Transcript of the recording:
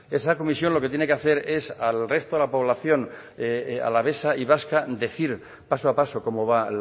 esa comisión lo que tiene que hacer es al resto de la población alavesa y vasca decir paso a paso cómo va